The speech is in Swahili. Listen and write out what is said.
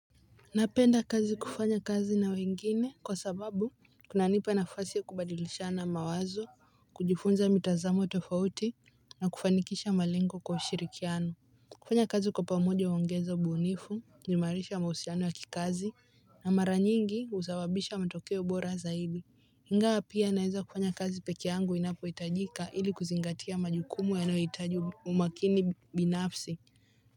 Napenda kazi kufanya kazi na wengine kwa sababu kuna nipa nafasi ya kubadilisha na mawazo kujifunza mitazamo tofauti na kufanikisha malengo kwa ushirikiano kufanya kazi kwa pamoja huongeza ubunifu huimarisha mahusiano ya kikazi na mara nyingi usababisha matokeo bora zaidi ingawa pia naweza kufanya kazi peke yangu inapo hitajika ili kuzingatia majukumu yanayohitaji umakini binafsi.